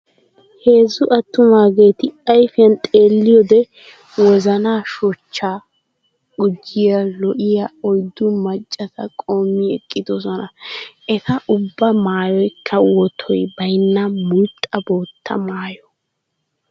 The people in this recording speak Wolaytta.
Heezzu attumaageeti ayfiyan xeelliyoode wozanaa shochchaa gujjiya lo"iya oyddu maccata qoommi eqqidosona. Eta ubbaa maayoykka wotoy baynna mulxxa bootta maayo.